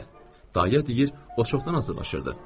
Daya deyir, o çoxdan hazırlaşırdı.